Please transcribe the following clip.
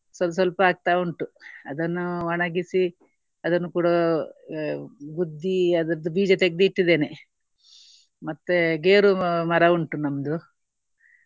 ಸ್ವಲ್~ ಸ್ವಲ್ಪ ಆಗ್ತಾ ಉಂಟು. ಅದನ್ನು ಒಣಗಿಸಿ ಅದನ್ನು ಕೂಡ ಗುದ್ದಿ ಅದರದ್ದು ಬೀಜ ತೆಗ್ದು ಇಟ್ಟಿದ್ದೇನೆ. ಮತ್ತೆ ಗೇರು ಮರ ಉಂಟು ನಮ್ದು.